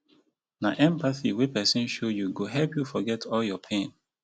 na empathy wey pesin show you go help you forget all your pain.